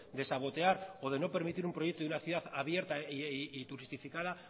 de sabotear o de no permitir un proyecto a una ciudad abierta y turistificada